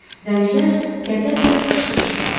Zəncilər qəzəblə qışqırışdılar.